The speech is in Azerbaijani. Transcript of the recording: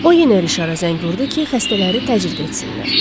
O yenə Rişara zəng vurdu ki, xəstələri təcrid etsinlər.